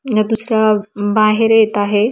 हे दुसऱ्या बाहेर येत आहे.